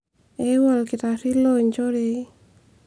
euo olkitarri loonchoorei